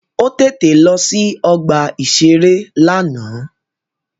Ó tètè lọ sí ọgbà-ìṣeré lánàá